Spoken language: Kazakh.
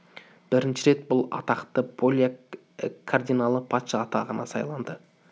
бірінші рет бұл атақты поляк кардиналы патша атағына сайланды